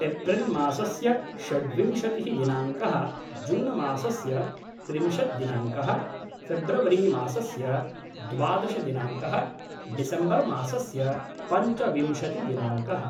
एप्रिल्मासस्य षड्विंशतिः दिनाङ्कः जूनमासस्य त्रिंशत् दिनाङ्कः फ़ेब्रवरिमासस्य द्वादशदिनाङ्कः डिसेब्मर् मासस्य पञ्चविंशतिदिनाङ्कः